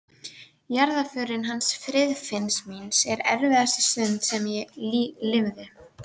Jarðarförin hans Friðfinns míns er erfiðasta stund sem ég lifði.